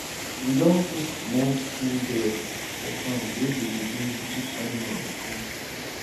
we don put small tin bell for farm wey go dey jingle if animal dey come